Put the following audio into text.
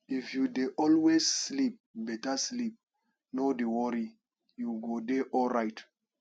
if you dey always sleep beta sleep no dey worry you go dey alright